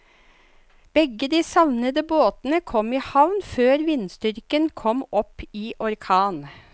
Begge de savnede båtene kom i havn før vindstyrken kom opp i orkan.